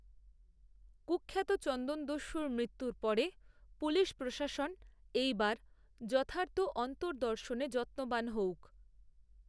কূখ্যাত চন্দনদস্যুর মৃত্যুর পরে, পুলিশপ্রশাসন, এই বার, যথার্থ অন্তদর্র্শনে, যত্নবান হউক